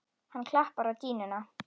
Hann klappar á dýnuna.